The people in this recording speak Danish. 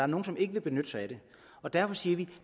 nogle som ikke kan benytte sig af det derfor siger vi at